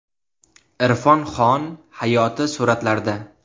Irfon Xon hayoti suratlarda.